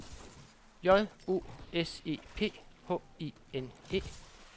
J O S E P H I N E